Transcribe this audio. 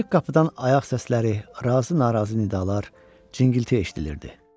Açıq qapıdan ayaq səsləri, razı-narazı nidalar, cingilti eşidilirdi.